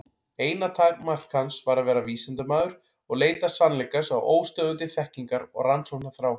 Eina takmark hans var að vera vísindamaður og leita sannleikans af óstöðvandi þekkingar- og rannsóknarþrá.